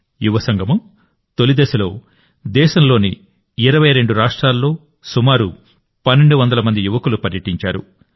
యువసంగమం తొలి దశలో దేశంలోని 22 రాష్ట్రాల్లో సుమారు 1200 మంది యువకులు పర్యటించారు